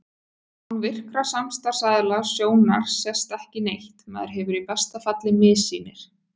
Án virkra samstarfsaðila sjónar sést ekki neitt, maður hefur í besta falli missýnir.